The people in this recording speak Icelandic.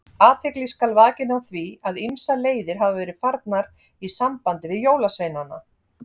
Athygli skal vakin á því að ýmsar leiðir hafa verið farnar í sambandi við jólasveinana.